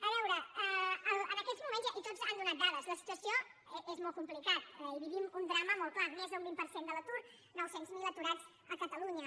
a veure en aquests moments i tots han donat dades la situació és molt complicada i vivim un drama molt clar més d’un vint per cent de l’atur nou cents miler aturats a catalunya